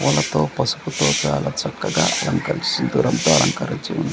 పూలతో పసుపుతో చాలా చక్కగా అలంకరిస్తూ వూరంతా అలంకరిచి--